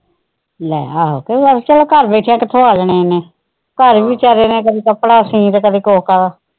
ਲੈ ਆਹੋ ਚੱਲ ਘਰ ਵੀ ਕਿਥੋਂ ਆ ਜਾਣੇ ਆ ਇੰਨੇ ਘਰ ਵੀ ਵਿਚਾਰੇ ਨੇ ਕਦੇ ਕੱਪੜਾ ਸੀਨ ਤੇ ਕਦੇ ਕੁੱਛ ਕਰੋ।